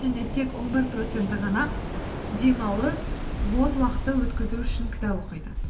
және тек он бір проценті ғана демалыс бос уақытты өткізу үшін кітап оқиды